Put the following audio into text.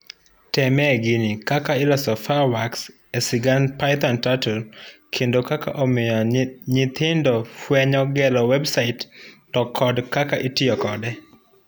Temie gini; kaka iloso fireworks esigand Python Turtle kendo kaka omiyo nyitrhindo fuenyo gero website to kod kaka itiyo kode.